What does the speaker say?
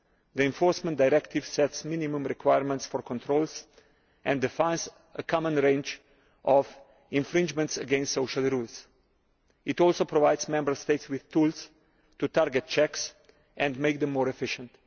The enforcement directive sets minimum requirements for controls and defines a common range of infringements against social rules. It also provides Member States with tools to target checks and make them more efficient.